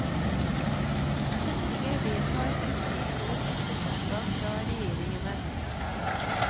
Stortinget vedtar en slik lov etter forslag fra regjeringene.